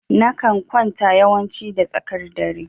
Na kan kwanta yawanci da tsakar dare.